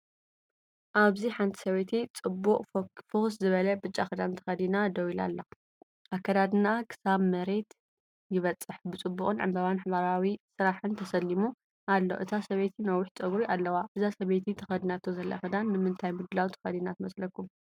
ኣብዚ ሓንቲ ሰበይቲ ጽቡቕ ፍኹስ ዝበለ ብጫ ክዳን ተኸዲና ደው ኢላ ኣላ። ኣከዳድናኣ ክሳብ መሬት ይበጽሕ፣ ብጽቡቕን ዕምባባታትን ሕብራዊ ስራሕን ተሰሊሙ ኣሎ። እታ ሰበይቲ ነዊሕ ጸጉሪ ኣለዋ። እዛ ሰበይቲ ተከዲናቶ ዘላ ክዳን ንምንታይ ምድላው ተኸዲና ትመስለኩም?